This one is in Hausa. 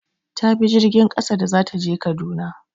Ta bi jirgin ƙasa da za ta je Kaduna.